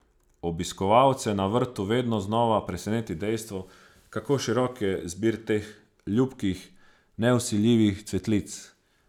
Obiskovalce na vrtu vedno znova preseneti dejstvo, kako širok je zbir teh ljubkih, nevsiljivih cvetlic.